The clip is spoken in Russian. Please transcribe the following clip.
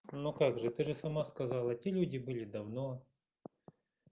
ну как же ты же сама сказала те люди были давно